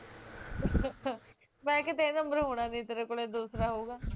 ਮੈਂ ਕਿਹਾ ਕਿਤੇ ਏਹ ਨੰਬਰ ਹੋਣਾ ਨੀ ਤੇਰੇ ਕੋਲੇ ਦੂਸਰਾ ਹੋਉਗਾ